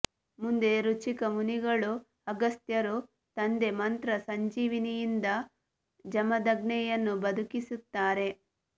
ಮುಂದೆ ರುಚಿಕ ಮುನಿಗಳು ಅಗಸ್ತ್ಯರು ತಂದೆ ಮಂತ್ರ ಸಂಜೀವಿನಿಯಿಂದ ಜಮದಗ್ನಿಯನ್ನು ಬದುಕಿಸುತ್ತಾರೆ